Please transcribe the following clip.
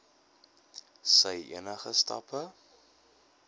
sy enige stappe